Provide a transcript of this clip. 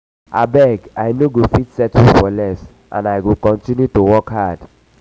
abeg i no go fit settle for less and i go continue to work hard